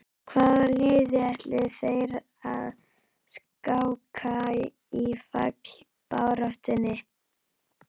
Hvaða liði ætla þeir að skáka í fallbaráttunni?